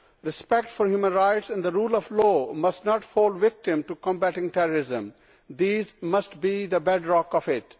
Respect for human rights and the rule of law must not fall victim to combating terrorism these must be the bedrock of it.